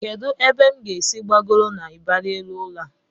Kedụ ebe m ga-esi gbagoro n'ịbarị elu ụlọ a?